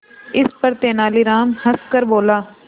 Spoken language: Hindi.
इस पर तेनालीराम हंसकर बोला